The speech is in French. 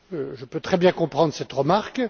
Je peux très bien comprendre cette remarque.